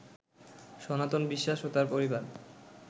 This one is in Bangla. সনাতন বিশ্বাস ও তার পরিবার